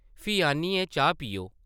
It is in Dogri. फ्ही आनियै चाह् पीओ ।